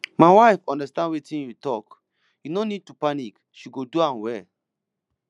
my wife understand wetin you talk you no need to panic she go do am well